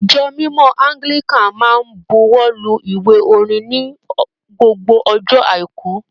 Ijọ̀ mímọ Anglican máa n bùwọ́lù ìwé orin ni gbogbo ọjọ aiku.